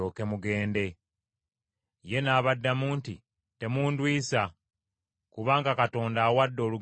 Ye n’abaddamu nti, “Temundwisa, kubanga Mukama awadde olugendo lwange omukisa.”